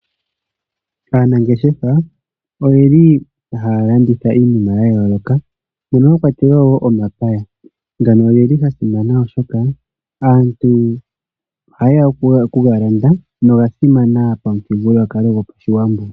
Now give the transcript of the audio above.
Aanangeshefa oye li haya landitha iinima ya yooloka mono mwa kwatelwa wo omapaya. Ngano oge li ga simana, oshoka aantu ohaye ya okuga landa noga simana pamuthigululwakalo goPashiwambo.